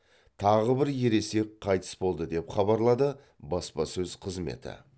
тағы бір ересек қайтыс болды деп хабарлады баспасөз қызметі